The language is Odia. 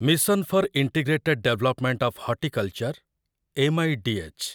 mission for integrated development of horticulture , M I D H